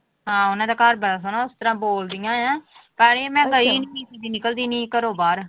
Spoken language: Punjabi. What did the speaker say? ਹਾਂ ਉਹਨਾਂ ਦਾ ਘਰ ਬੜਾ ਸੋਹਣਾ ਇਸ ਤਰ੍ਹਾਂ ਬੋਲਦੀਆਂ ਆਂ ਤਾਂ ਹੀ ਮੈਂ ਗਈ ਨੀ ਨਿਕਲਦੀ ਨੀ ਘਰੋਂ ਬਾਹਰ।